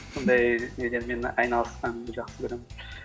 сондай нелермен айналысқанды жақсы көремін